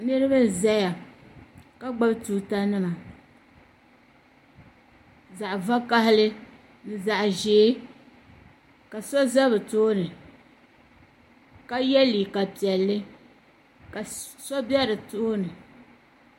niriba n-zaya ka gbuni tuuta nima zaɣ' vakahili ni zaɣ' ʒee ka so za bɛ tooni ka ye liiga piɛlli la so be di tooni.